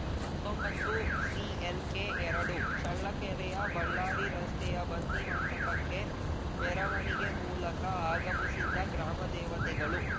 ಹತ್ತೊಂಬತ್ತುಸಿಎಲ್‌ಕೆಎರಡು ಚಳ್ಳಕೆರೆಯ ಬಳ್ಳಾರಿ ರಸ್ತೆಯ ಬನ್ನಿ ಮಂಟಪಕ್ಕೆ ಮೆರವಣೆಗೆ ಮೂಲಕ ಆಗಮಿಸಿದ್ದ ಗ್ರಾಮ ದೇವತೆಗಳು